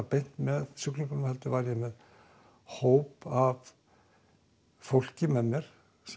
beint með sjúklingum heldur var ég með hóp af fólki með mér